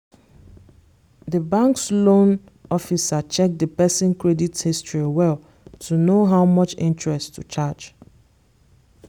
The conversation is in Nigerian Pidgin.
the bank's loan officer check the person credit history well to know how much interest to charge.